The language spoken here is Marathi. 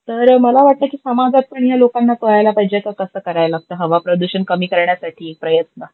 तर मला वाटत की समाजात पण या लोकांना कळायला पाहिजे त तस करायला लागता हवा प्रदूषण कमी करण्यासाठी प्रयत्न.